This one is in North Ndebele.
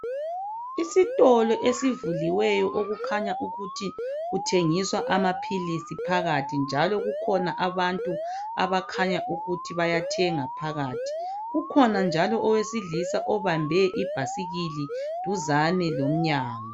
Isitolo esivuliweyo okukhanya ukuthi kuthengiswa amaphilisi phakathi njalo kukhona abantu abakhanya ukuthi bayathenga phakathi kukhona njalo owesilisa obambe ibhasikili duzane lomnyango.